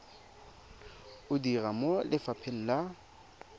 o dira mo lefapheng la